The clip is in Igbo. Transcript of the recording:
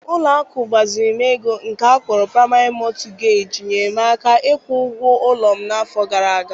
Ụlọ akụ mgbazinye ego nke akpọrọ Praịmarị Mọtụgeji nyeere m aka ịkwụ ụgwọ ụlọ m n'afọ gara aga.